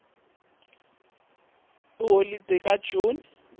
sinemcimbi yeholide ka june